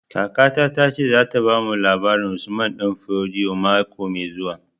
Kakata ta ce za ta bamu labarin Usman Danfodio mako mai zuwa